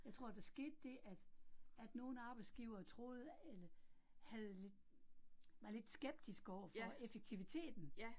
Jeg tror, der skete det, at at nogle arbejdsgivere troede, eller havde, var lidt skeptiske overfor effektiviteten